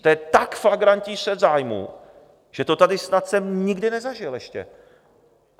To je tak flagrantní střet zájmů, že to tady snad jsem nikdy nezažil ještě.